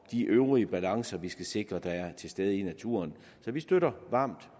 de øvrige balancer vi skal sikre der er til stede i naturen så vi støtter varmt